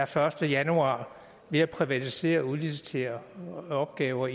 første januar ved at privatisere og udlicitere opgaver